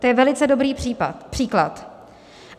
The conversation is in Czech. To je velice dobrý příklad.